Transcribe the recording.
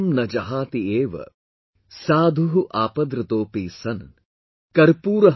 naJahatieva, sadhuh aapadratopi san l